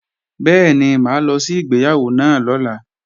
Bẹ́ẹ̀ni, mà á lọ sí ìgbéyàwó náà lọ́la